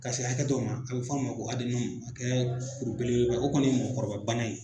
Ka se hakɛ dɔ ma a bɛ fɔ' ma ko ka kɛ kuru belebele ba ye ,o kɔni mɔgɔkɔrɔba bana ye.